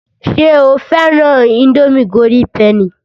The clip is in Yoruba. Ṣé o fẹ́ran ińdómì golden penny?